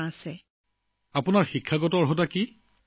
সুনীতা জী আপুনি কিমানলৈকে পঢ়াশুনা কৰিছে